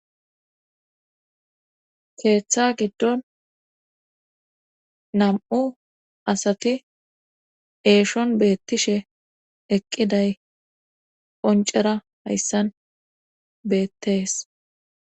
Keeththa giddon nam7u asati eeshon beettishe eqqiday qoncera hayssan beettees.